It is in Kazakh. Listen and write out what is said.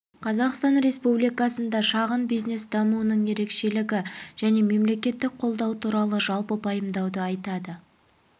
қазақстан республикасында шағын бизнес дамуының ерекшелігі және мемлекеттік қолдау туралы жалпы пайымдауды айтады